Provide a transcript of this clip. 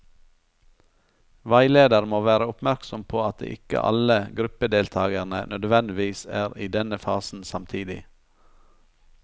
Veileder må være oppmerksom på at ikke alle gruppedeltakerne nødvendigvis er i denne fasen samtidig.